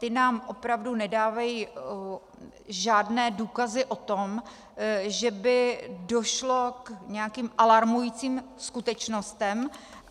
Ty nám opravdu nedávají žádné důkazy o tom, že by došlo k nějakým alarmujícím skutečnostem.